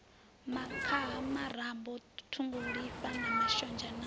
makhaha murambo ṱhungulifha mashonzha na